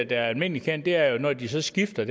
det er almindeligt kendt at når de så skifter